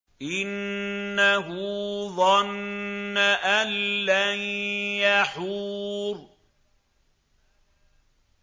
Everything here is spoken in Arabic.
إِنَّهُ ظَنَّ أَن لَّن يَحُورَ